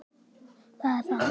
Hér er tvennt að athuga.